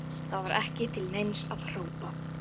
Það var ekki til neins að hrópa.